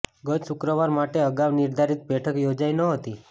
ગત શુક્રવાર માટે અગાઉ નિર્ધારિત બેઠક યોજાઈ નહોતી